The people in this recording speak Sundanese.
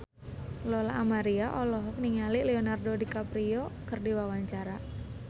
Lola Amaria olohok ningali Leonardo DiCaprio keur diwawancara